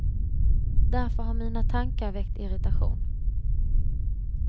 Därför har mina tankar väckt irritation.